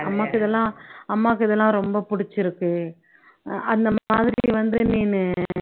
அம்மாக்கு இதெல்லாம் அம்மாக்கு இதெல்லாம் ரொம்ப புடிச்சுருக்கு அந்த மாதிரி வந்து நீனு